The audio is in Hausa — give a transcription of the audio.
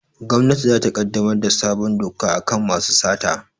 Gwamnati za ta ƙaddamar da sabon doka a kan masu sata